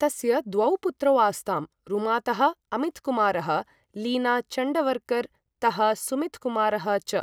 तस्य द्वौ पुत्रौ आस्ताम्, रुमातः अमितकुमारः, लीना चण्डवरकर् तः सुमितकुमारः च।